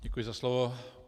Děkuji za slovo.